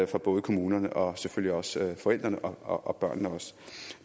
for både kommunerne og selvfølgelig også forældrene og børnene